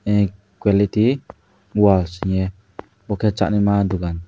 eh kwality walls hingye bo khe chanaima dogan.